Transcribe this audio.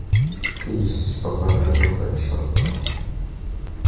Tegishli shifokorlar guruhi ish olib bormoqda.